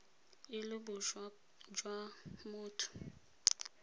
e le boswa jwa motho